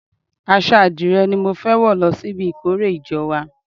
Aṣọ adire ni mo fẹ́ wò lọ sí ibi ìkórè ìjọ wa.